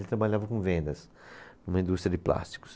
Ele trabalhava com vendas, numa indústria de plásticos.